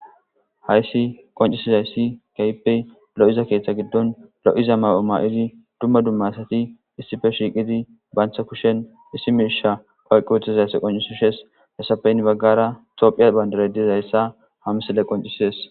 hayssi qoncisizayssi kayppey lo7iza keeththa giddon lo7iza ma7o ma7idi dumma dumma asati issife shiiqidi baantha kushen issi mirsha qoalqi wuthizayssa qoncisi shes hesafeyin baggara tophiya bandare dizayssa hamisile qoncisides